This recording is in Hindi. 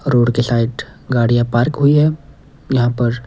रोड के साइड गाड़ियां पार्क हुई हैं यहां पर --